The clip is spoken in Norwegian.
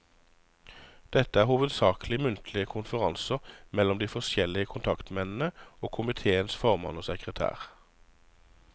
Dette var hovedsaklig muntlige konferanser mellom de forskjellige kontaktmennene, og komiteens formann og sekretær.